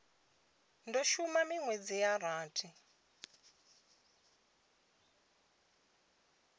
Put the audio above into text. do shuma minwedzi ya rathi